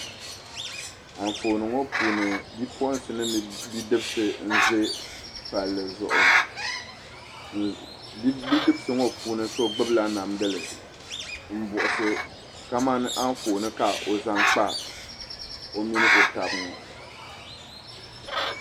Anfooni ŋɔ puuni bipuɣinsi mini bidibsi n ʒɛ palli zuɣu bidibsi ŋɔ puuni so gbubla namdili n buɣisi ka mani anfooni ka o zaŋ kpa o mini o taba ŋɔ.